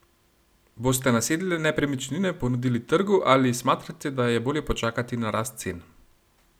Boste nasedle nepremičnine ponudili trgu ali smatrate, da je bolje počakati na rast cen?